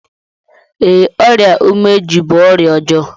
Ee, ọrịa umeji bú ọrịa ọjọọ.